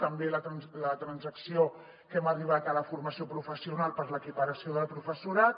també la transacció a què hem arribat de la formació professional per a l’equiparació del professorat